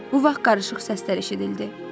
Bu vaxt qarışıq səslər eşidildi.